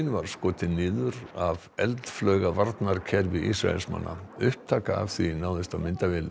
var skotin niður af eldflaugavarnarkerfi Ísraelsmanna upptaka af því náðist á myndavél